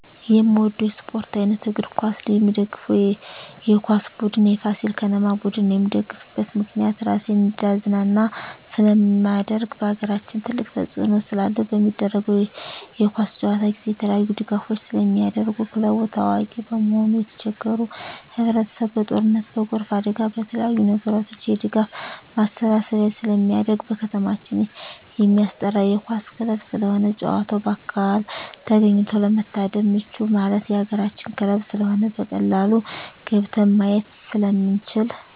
የምወደው የስፓርት አይነት እግር ኳስ ነው። የምደግፈው የኳስ ቡድን የፋሲል ከነማ ቡድን ነው። የምደግፍበት ምክንያት ራሴን እንዳዝናና ስለማደርግ በአገራችን ትልቅ ተፅዕኖ ስላለው። በሚደረገው የኳስ ጨዋታ ጊዜ የተለያዪ ድጋፎች ስለሚደረጉ ክለቡ ታዋቂ በመሆኑ የተቸገሩ ህብረቸሰብ በጦርነት በጎርፍ አደጋ በተለያዪ ነገሮች የድጋፍ ማሰባሰቢያ ስለሚደረግ። በከተማችን የማስጠራ የኳስ ክለብ ስለሆነ ጨዋታውን በአካል ተገኝቶ ለመታደም ምቹ ማለት የአገራችን ክለብ ስለሆነ በቀላሉ ገብተን ማየት ስለምንችል።